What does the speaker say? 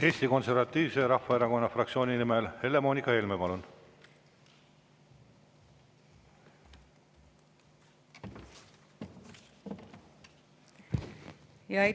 Eesti Konservatiivse Rahvaerakonna fraktsiooni nimel Helle-Moonika Helme, palun!